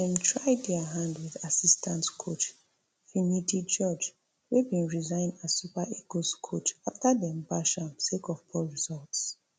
dem try dia hand wit assistant coach finidi george wey bin resign as super eagles coach afta dem bash am sake of poor results